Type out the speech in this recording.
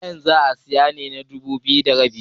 kayan za a siyar dubu biyu da arba'in da daya?